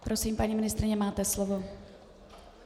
Prosím, paní ministryně, máte slovo.